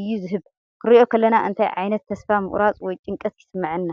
እዩ ዝህብ። ክንርእዮ ከለና እንታይ ዓይነት ተስፋ ምቑራጽ ወይ ጭንቀት ይስምዓና?